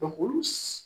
Dɔnku olu